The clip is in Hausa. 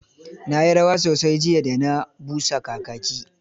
Na yi rawa sosai jiya da ana busa kakaki.